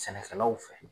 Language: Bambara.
Sɛnɛkɛlaw fɛ